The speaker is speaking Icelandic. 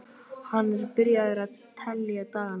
Hann er byrjaður að telja dagana.